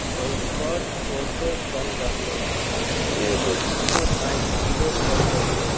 वही पर टोटो चल रहले हन एगो दुगो साइकिलो चल रहले --